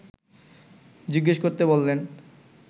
জিজ্ঞেস করতে বললেন